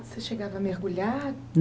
Você chegava a mergulhar?